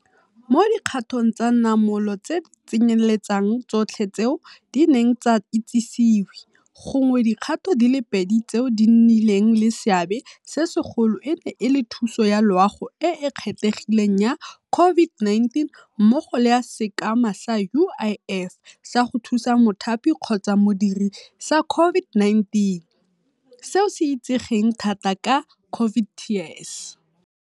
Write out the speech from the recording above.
Mo dikgatong tsa namolo tse di tsenyeletsang tsotlhe tseo di neng tsa itsisiwe, gongwe dikgato di le pedi tseo di nnileng le seabe se segolo e ne e le thuso ya loago e e kgethegileng ya COVID-19 mmogo le ya Sekema sa UIF sa go Thusa Mothapi-Modiri sa COVID-19, seo se itsegeng thata ka COVID TERS.